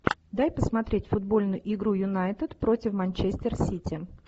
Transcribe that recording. дай посмотреть футбольную игру юнайтед против манчестер сити